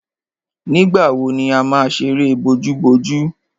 Nígbà wo ni a má ṣeré bojúbojú?